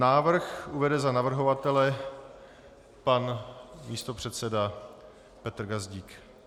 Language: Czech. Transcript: Návrh uvede za navrhovatele pan místopředseda Petr Gazdík.